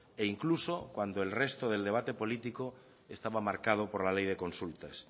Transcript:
e incluso cuando el resto del debate político estaba marcado por la ley de consultas